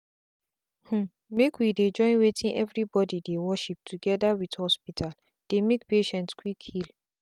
hmmmmake we dey join wetin everybody dey worship together with hospital dey make patient quick heal.